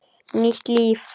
Nýtt líf.